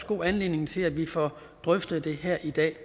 god anledning til at vi får drøftet det her i dag